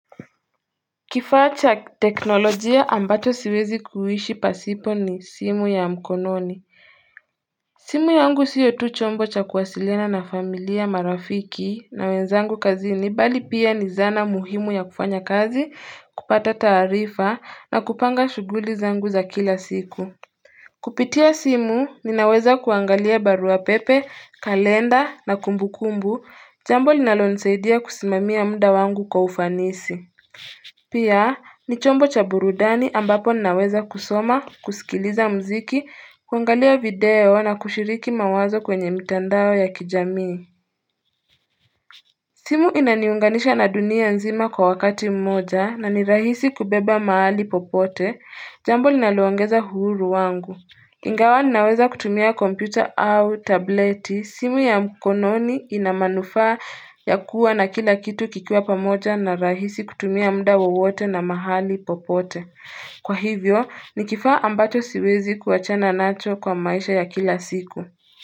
Kifaa cha teknolojia ambacho siwezi kuishi pasipo ni simu ya mkononi simu yangu sio tu chombo cha kuwasiliana na familia marafiki na wenzangu kazini bali pia ni zana muhimu ya kufanya kazi kupata taarifa na kupanga shuguli zangu za kila siku Kupitia simu ninaweza kuangalia baruapepe kalenda na kumbukumbu jambo linalo nisaidia kusimamia muda wangu kwa ufanisi Pia ni chombo cha burudani ambapo naweza kusoma, kusikiliza mziki, kuangalia video na kushiriki mawazo kwenye mitandao ya kijami simu inaniunganisha na dunia nzima kwa wakati mmoja na ni rahisi kubeba mahali popote Jambo linaloongeza uhuru wangu Ingawa ninaweza kutumia kompyuta au tableti, simu ya mkononi inamanufa ya kuwa na kila kitu kikiwa pamoja na rahisi kutumia mda wawote na mahali popote. Kwa hivyo, nikifaa ambacho siwezi kuachana nacho kwa maisha ya kila siku.